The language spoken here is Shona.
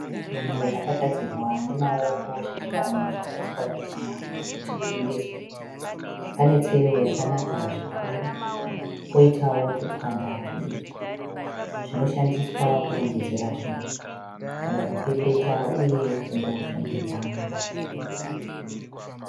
Zvinhu zvakagadzirwa nemaoko zvechivanhu zvakaiswa pachena kuti zvitengeswe, pane tsero yakanaka zvikuru poitawo tutswanda tudiki zvinoshandiswa kurongedzera zvinhu kana kupepeta uye kungoshongedza mumba.